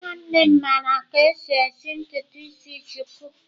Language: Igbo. Nwannem mara ka esi esi ntutu isi shuku